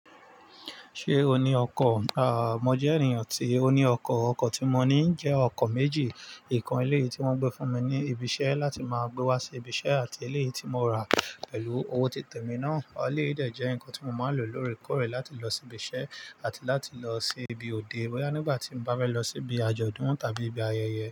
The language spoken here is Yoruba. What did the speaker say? Ṣé o ní ọkọ̀? À, mo jẹ́ ènìyàn tí ó ní ọkọ̀. Ọkọ̀ tí mo ní jẹ́ ọkọ̀ méjì. Ìkan eléyìí tí wọ́n gbé fún mi ní ibi iṣẹ́ láti máa gbé wá sí ibi iṣẹ́ àti eléyìí tí mo rà pẹ̀lú owó titẹ mi náà. Ọ̀ eléyìí jẹ́ nǹkan tí mo máa lò lóòrèkóòrè láti lọ sí ibi iṣẹ́ àti láti lọ sí ibi òde. Boyá nígbà tí mo bá bá ẹ lọ síbi àjọ̀dún tàbí ibi ayẹyẹ.